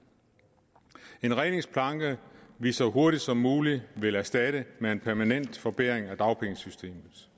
en redningsplanke vi så hurtigt som muligt vil erstatte med en permanent forbedring af dagpengesystemet